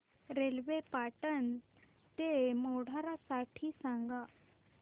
railway Patan ते मोढेरा साठी सांगा